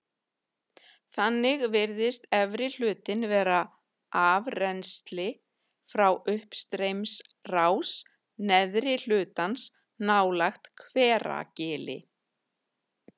Þannig virðist efri hlutinn vera afrennsli frá uppstreymisrás neðri hlutans nálægt Hveragili.